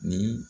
Ni